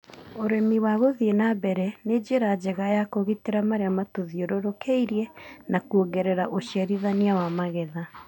ũrĩmi wa gũthie na mbere nĩ njĩra njega ya kũgitĩra marĩa matũthiorũrũkĩirie na kuongerera ũciarithania wa magetha.